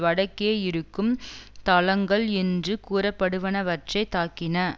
வடக்கே இருக்கும் தளங்கள் என்று கூறப்படுவனவற்றை தாக்கின